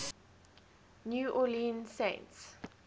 new orleans saints